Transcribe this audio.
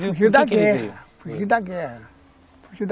Fugiu da guerra, fugiu da guerra.